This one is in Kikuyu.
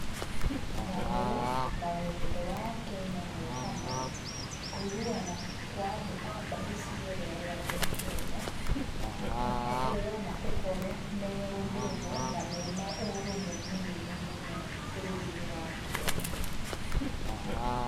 Thayũ na wendo wa Akenya mehamwe, kũiguana kwa andũ a mbarĩ ciothe arĩa me Kenya, na kũheyana ũhoro meũndũ ũmwe, na mena ũrũmwe mũnene mũno bũrũri-inĩ wa Kenya.